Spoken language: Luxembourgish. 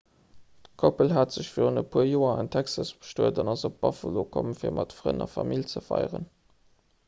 d'koppel hat sech virun e puer joer an texas bestuet an ass op buffalo komm fir mat frënn a famill ze feieren